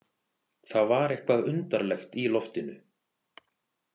Það var eitthvað undarlegt í loftinu.